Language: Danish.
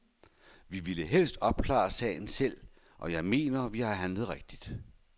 Vi ville helst opklare sagen selv, og jeg mener, vi har handlet rigtigt.